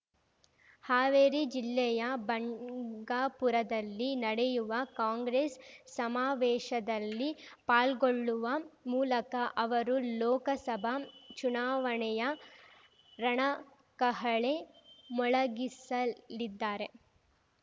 ಹಾವೇರಿ ಜಿಲ್ಲೆಯ ಬಂಗಾಪುರದಲ್ಲಿ ನ‌ಡೆಯುವ ಕಾಂಗ್ರೆಸ್ ಸಮಾವೇಶದಲ್ಲಿ ಪಾಲ್ಗೊಳ್ಳುವ ಮೂಲಕ ಅವರು ಲೋಕಸಭಾ ಚುನಾವಣೆಯ ರಣಕಹಳೆ ಮೊಳಗಿಸಲಿದ್ದಾರೆ